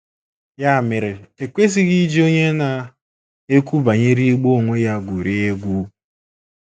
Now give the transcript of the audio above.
Ya mere e kwesịghị iji onye na - ekwu banyere igbu onwe ya gwurie egwu.